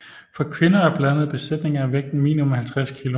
For kvinder og blandede besætninger er vægten minimum 50 kg